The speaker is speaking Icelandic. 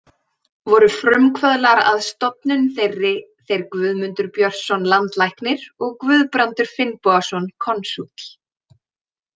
Voru frumkvöðlar að stofnun þeirri, þeir Guðmundur Björnsson, landlæknir og Guðbrandur Finnbogason, konsúll.